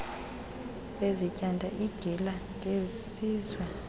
bezityanda igila ngesizwe